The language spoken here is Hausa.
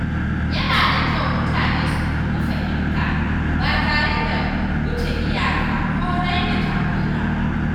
Yana da kyau mutane su nemi fahimta ba tare da wuce iyaka ko raina jagora ba.